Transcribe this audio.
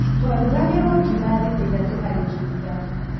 Twarugagĩrwo ng'ima thikũ ithatũ hari kiumia.